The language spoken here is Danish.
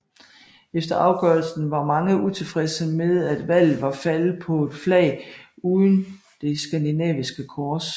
Efter afgørelsen var mange utilfredse med at valget var faldet på et flag uden det skandinaviske kors